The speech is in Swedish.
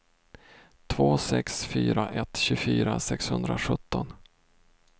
två sex fyra ett tjugofyra sexhundrasjutton